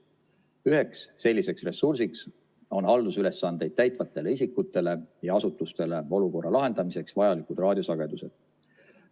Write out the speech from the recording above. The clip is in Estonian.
Üheks selliseks ressursiks on haldusülesandeid täitvatele isikutele ja asutustele olukorra lahendamiseks vajalikud raadiosagedused.